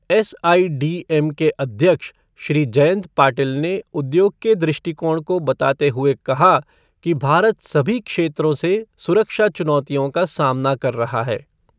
SIDM के अध्यक्ष श्री जयंत पाटिल ने उद्योग के दृष्टिकोण को बताते हुए कहा कि भारत सभी क्षेत्र से सुरक्षा चुनौतियों का सामना कर रहा है।